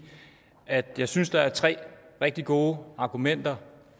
at jeg synes der er tre rigtig gode argumenter